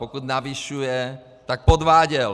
Pokud navyšuje, tak podváděl.